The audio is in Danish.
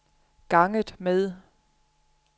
ganget med